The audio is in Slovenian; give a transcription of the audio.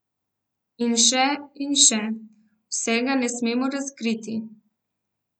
In še in še, vsega ne smemo razkriti...